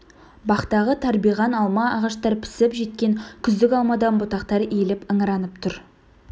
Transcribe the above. бақтағы тарбиған алма ағаштар пісіп жеткен күздік алмадан бұтақтары иіліп ыңыранып тұр